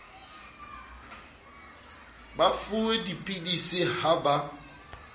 ba fuwe dipilisi ha ba